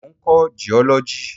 Mo ń kọ́ jiọ́lọ́jì.